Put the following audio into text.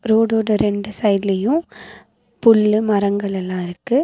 ரோடோட ரெண்டு சைடுலையு புல்லு மரங்கள் எல்லா இருக்கு.